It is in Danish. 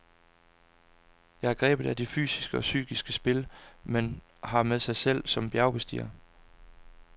Jeg er grebet af det fysiske og psykiske spil, man har med sig selv som bjergbestiger.